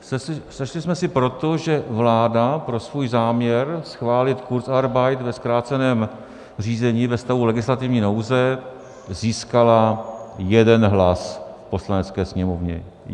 Sešli jsme se proto, že vláda pro svůj záměr schválit kurzarbeit ve zkráceném řízení ve stavu legislativní nouze získala jeden hlas v Poslanecké sněmovně.